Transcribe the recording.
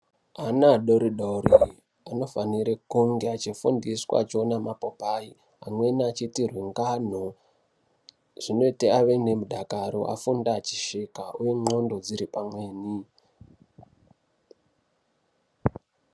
Ana adoridori anofanira kunge achifundiswa achione mapopai. Amweni achiitirwe ngano zvinoite ave nemudakaro afunde achisvika, uye ndxondo dziri pamweni.